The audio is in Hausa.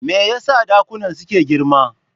Me yasa dakunan suke girma?